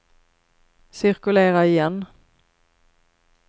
cirkulera igen